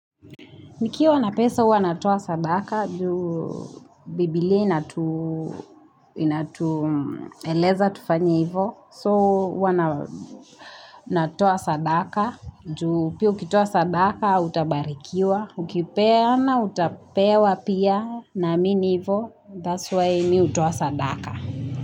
Nikiwa na pesa hua natoa sadaka, juu bibilia inatu na tu eleza tufanye ivyo, so huwa natoa sadaka, juu pia ukitoa sadaka, utabarikiwa, ukipeana, utapewa pia namiini ivo. That's why mi hutoa sadaka.